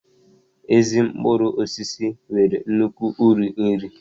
Ezi mkpụrụ osisi nwere nnukwu uru nri